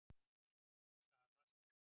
Sú sala stendur.